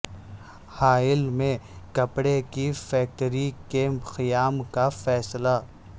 حائل میں کپڑے کی فیکٹری کے قیام کا فیصلہ